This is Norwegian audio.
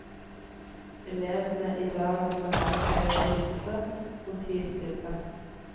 Elevene i dag må lære seg å hilse og tie stille.